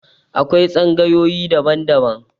Akwai tsangayoyi daban -daban